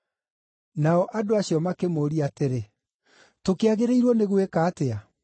Nao andũ acio makĩmũũria atĩrĩ, “Tũkĩagĩrĩirwo nĩ gwĩka atĩa?”